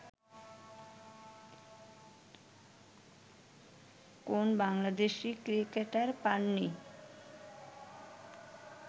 কোন বাংলাদেশি ক্রিকেটার পান নি